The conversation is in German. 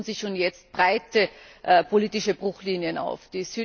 Es tun sich schon jetzt breite politische Bruchlinien auf.